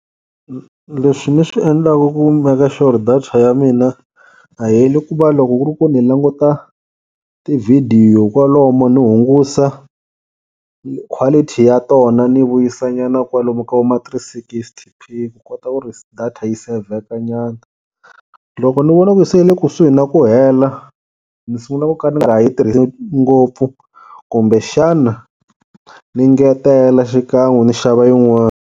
Leswi ni swi endlaku ku make sure ku ri data ya mina a yi heli i ku va loko ku ri ku ni languta tivhidiyo kwalomu ni hungusa quality ya tona ni vuyisa nyana kwalomu ka vo ma three sixty ni kota ku ri data yi sevheka nyana. Loko ni vona ku se yi le kusuhi na ku hela ni sungula ku ka ni nga yi tirhisi ngopfu kumbe xana ni ngetela xikan'we ni xava yin'wani.